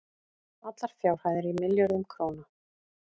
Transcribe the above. allar fjárhæðir í milljörðum króna